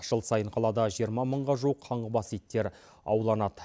жыл сайын қалада жиырма мыңға жуық қаңғыбас иттер ауланады